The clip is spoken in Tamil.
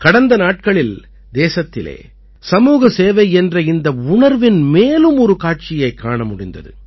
கடந்த நாட்களில் தேசத்திலே சமூக சேவை என்ற இந்த உணர்வின் மேலும் ஒரு காட்சியைக் காண முடிந்தது